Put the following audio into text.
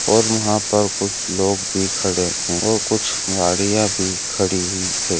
और यहाँ पर कुछ लोग भी कड़े है और कुछ मरिया भी कड़े है|